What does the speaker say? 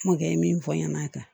Mɔkɛ min fɔ n ɲɛnɛ a kan